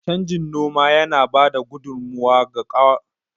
Canjin noma yana ba da gudummawa ga kawar da kwari, kuma yana taimakawa wajen karawa ƙasa ƙwari.